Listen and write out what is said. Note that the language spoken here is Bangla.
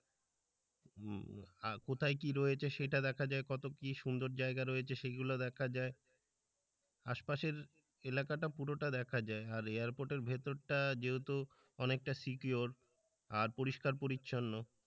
কোথায় কি রয়েছে সেটা দেখা যায় কত কি সুন্দর জায়গা রয়েছে সেগুলো দেখা যায় আশপাশের এলাকাটা পুরোটা দেখা যায় আর এয়ারপোর্ট এর ভেতরটা যেহেতু অনেকটা secure আর পরিষ্কার পরিচ্ছন্ন।